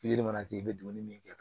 mana kɛ i bɛ dumuni min kɛ